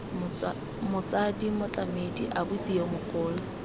motsadi motlamedi abuti yo mogolo